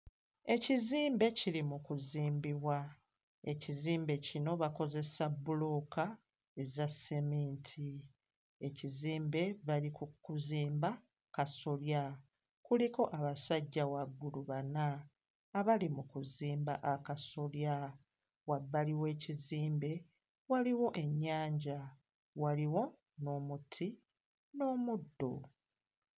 Ekizimbe kiri mu kuzimbibwa, ekizimbe kino bakozesa bbulooka eza sseminti, ekizimbe bali ku kuzimba kasolya kuliko abasajja waggulu bana abali mu kuzimba akasolya, wabbali w'ekizimbe waliwo ennyanja, waliwo n'omuti n'omuddo.